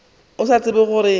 a sa tsebe gore go